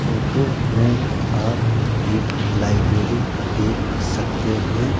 Photo में आप एक लाइब्रेरी देख सकते हैं।